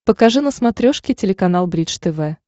покажи на смотрешке телеканал бридж тв